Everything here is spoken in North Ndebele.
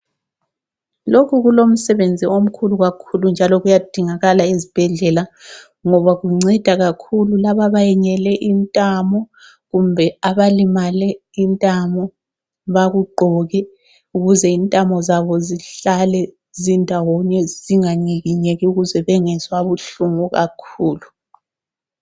Lokhu kulomsebenzi omkhulu kakhulu njalo kuyadingakala ezibhendlela. Ngoba kunceda kakhulu laba ebenyele intamo kumbe abalimale intamo bakugqoke ukuze intamo zabo zihlale zindawonye zinganyikinyeke ukuze bangezwa ubuhlungu kakhulu.